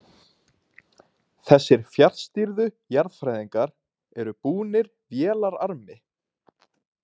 Þessir fjarstýrðu jarðfræðingar eru búnir vélararmi.